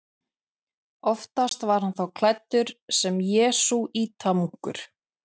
Oftast var hann þá klæddur sem jesúítamunkur.